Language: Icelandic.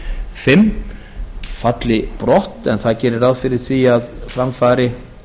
fimm falli brott en það gerir ráð fyrir því að fram fari